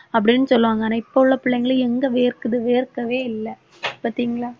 அப்படின்னு சொல்லுவாங்க ஆனா இப்பவுள்ள பிள்ளைங்களை எங்க வேர்க்குது வேர்க்கவே இல்லை பார்த்தீங்களா